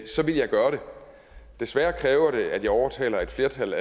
så ville jeg gøre det desværre kræver det at jeg overtaler et flertal